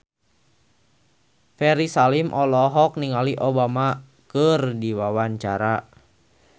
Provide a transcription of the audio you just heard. Ferry Salim olohok ningali Obama keur diwawancara